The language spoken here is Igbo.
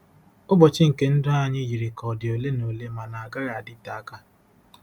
ỤBỌCHỊ nke ndụ anyị yiri ka ọ dị ole na ole ma na-agaghị adịte aka.